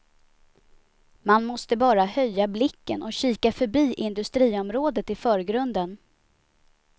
Man måste bara höja blicken och kika förbi industriområdet i förgrunden.